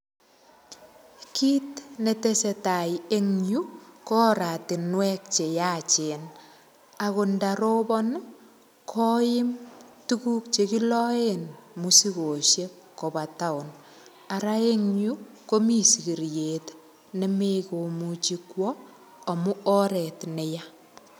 Kit netestai eng yu, ko oratinwek che yachen agot ndarobon koim tuguk che kiloen mosigosiek koba town. Ara en yu komi sigiriet nemekomuchi kwo amu oret neya.